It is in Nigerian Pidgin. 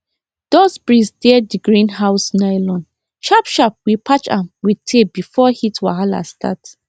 dust breeze tear the greenhouse nylonsharp sharp we patch am with tape before heat wahala start